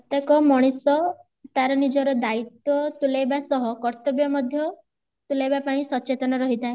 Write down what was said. ପ୍ରତ୍ୟକ ମଣିଷ ତାର ନିଜର ଦାଇତ୍ଵ ତୁଲେଇବା ସହ କର୍ତ୍ୟବ ମଧ୍ୟ ତୁଲେଇବା ପାଇଁ ସଚେତନ ରହିଥାଏ